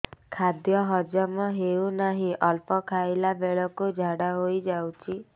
ଖାଦ୍ୟ ହଜମ ହେଉ ନାହିଁ ଅଳ୍ପ ଖାଇଲା ବେଳକୁ ଝାଡ଼ା ହୋଇଯାଉଛି